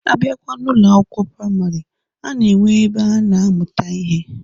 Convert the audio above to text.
Abịakwa n'Ụlọ akwụkwọ praịmarị, a na-enwe ebe a na-amụta ihe.